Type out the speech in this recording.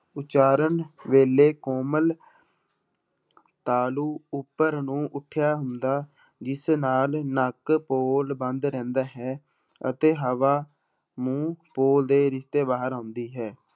ਉਚਾਰਨ ਵੇਲੇ ਕੋਮਲ ਤਾਲੂ ਉੱਪਰ ਨੂੂੰ ਉੱਠਿਆ ਹੁੰਦਾ, ਜਿਸ ਨਾਲ ਨੱਕ ਬੋਲ ਬੰਦ ਰਹਿੰਦਾ ਹੈ ਅਤੇ ਹਵਾ ਮੂੰਹ ਪੋਲ ਦੇ ਰਸਤੇ ਬਾਹਰ ਆਉਂਦੀ ਹੈ।